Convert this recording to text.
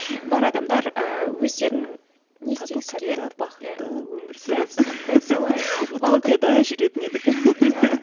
бар адамдар ыыы өздерінің не тату тәтті бақытты өмір сүріп дәл дәл солай утопияда жүретін едік иә